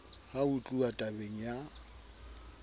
ha ho tluwa tabeng ya